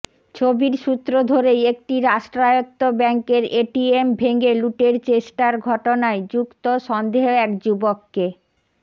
ছবির সূত্র ধরেই একটি রাষ্ট্রায়ত্ত ব্যাঙ্কের এটিএম ভেঙে লুটের চেষ্টার ঘটনায় যুক্ত সন্দেহে এক যুবককে